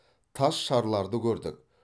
тас шарларды көрдік